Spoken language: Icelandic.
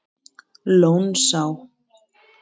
Lónsá